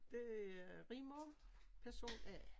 Det er Rigmor person A